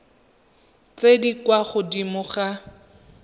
tse di kwa godimo ga